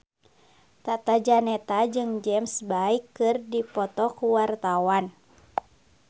Tata Janeta jeung James Bay keur dipoto ku wartawan